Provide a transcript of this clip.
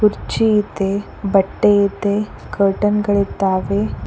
ಕುರ್ಚಿ ಇದೆ ಬಟ್ಟೆ ಇದೆ ಕರ್ಟನ್ ಗಳಿದ್ದಾವೆ.